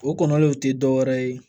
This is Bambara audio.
O kɔlɔlɔw te dɔwɛrɛ ye